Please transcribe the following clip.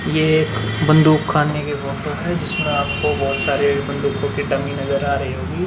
यह एक बंदूक खाने की फोटो है जिसमें आपको बहुत सारे बंदूको की डमी नजर आ रही होगी ।